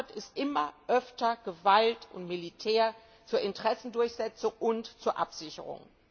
Ihre Antwort ist immer öfter Gewalt und Militär zur Interessendurchsetzung und zur Absicherung.